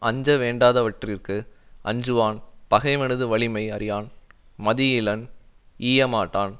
அஞ்சவேண்டாதவற்றிற்கு அஞ்சுவான் பகைவனது வலிமை அறியான் மதியிலன் ஈயமாட்டான்